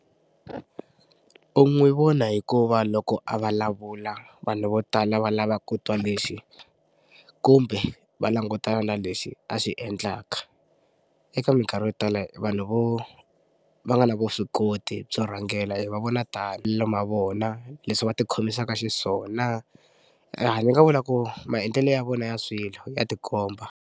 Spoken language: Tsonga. U n'wi vona hikuva loko a vulavula vanhu vo tala va lava ku twa lexi kumbe va langutana na lexi a xi endlaka. Eka mikarhi yo tala vanhu vo va nga na vuswikoti byo rhangela hi va vona tani ma vona leswi va tikhomisaka xiswona ni nga vula ku maendlelo ya vona ya swilo ya ti komba.